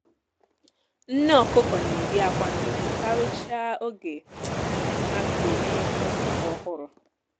nne ọkụkọ na-eyi akwa nnukwu karịchaa oge um ha bidoro iyi akwa ọhụrụ